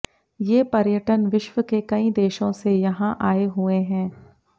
ये पर्यटन विश्व के कई देशों से यहां आए हुए हैं